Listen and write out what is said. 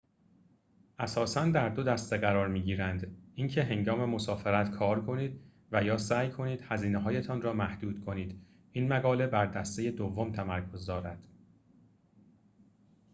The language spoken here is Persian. اساساً در دو دسته قرار می‌گیرند اینکه هنگام مسافرت کار کنید و یا سعی کنید هزینه‌هایتان را محدود کنید این مقاله بر دسته دوم تمرکز دارد